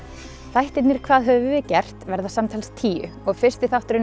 þættirnir hvað höfum við gert verða samtals tíu og fyrsti þátturinn